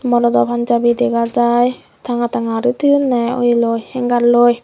monodo panjabi dega jai tanga tanga uri toyonne oye loi hengarloi.